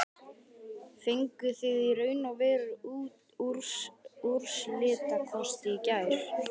Fenguð þið í raun og veru úrslitakosti í gær?